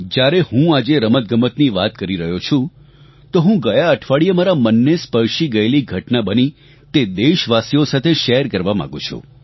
જ્યારે હું આજે રમતગમતની વાત કરી રહ્યોં છું તો હું ગયા અઠવાડિયે મારા મનને સ્પર્શી ગયેલી ઘટના બની તે દેશવાસીઓ સાથે શેયર કરવા માંગુ છું